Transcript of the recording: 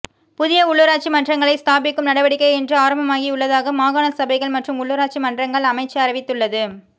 புதிய உள்ளுராட்சி மன்றங்களை ஸ்தாபிக்கும் நடவடிக்கை இன்று ஆரம்பமாகியுள்ளதாக மாகாண சபைகள் மற்றும் உள்ளுராட்சி மன்றங்கள் அமைச்சு அறிவித்துள்ளது